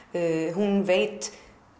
hún veit